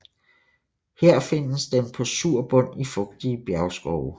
Her findes den på sur bund i fugtige bjergskovene